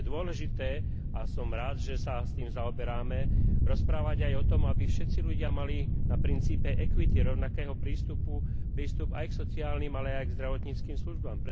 Je dôležité, a som rád, že sa s tým zaoberáme, rozprávať aj o tom, aby všetci ľudia mali na princípe equity, rovnakého prístupu, prístup aj k sociálnym, ale aj k zdravotníckym službám.